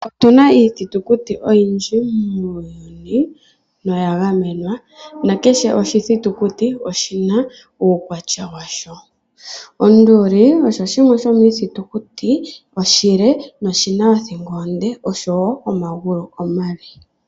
Otu na iithitukutu oyindji muuyuni noyagamenwa nakehe oshithitukuti oshi na uukwatya washo. Onduli oyo yimwe yomiithitukuti iile noyi na othingo onde oshowo omagulu omale.